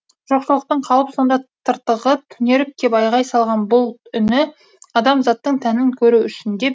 жоқшылықтың қалып сонда тыртығы түнеріп кеп айғай салған бұлт үні адамзаттың тәнін көру үшін деп